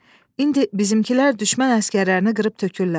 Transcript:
İndi bizimkilər düşmən əsgərlərini qırıb tökürlər.